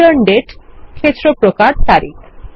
return দাতে ক্ষেত্র প্রকার তারিখ